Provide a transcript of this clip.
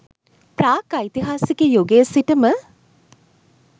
ප්‍රාග් ඓතිහාසික යුගයේ සිට ම